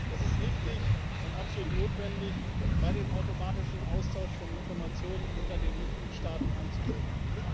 Es ist richtig und absolut notwendig, bei dem automatischen Austausch von Informationen unter den Mitgliedstaaten anzusetzen.